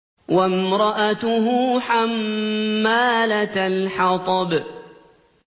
وَامْرَأَتُهُ حَمَّالَةَ الْحَطَبِ